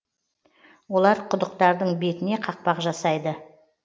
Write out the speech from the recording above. олар құдықтардың бетіне қақпақ жасайды